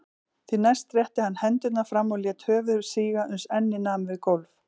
Því næst rétti hann hendurnar fram og lét höfuð síga uns ennið nam við gólf.